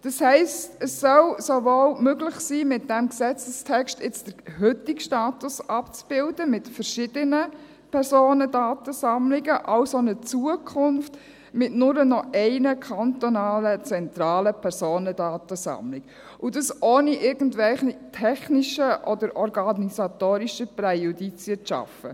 Das heisst, es soll sowohl möglich sein, mit diesem Gesetzestext den heutigen Status mit verschiedenen Personendatensammlungen abzubilden als auch jenen der Zukunft mit nur noch einer kantonalen zentralen Personendatensammlung – und dies, ohne irgendwelche technischen oder organisatorischen Präjudizien zu schaffen.